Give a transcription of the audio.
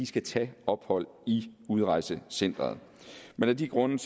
skal tage ophold i udrejsecenteret af de grunde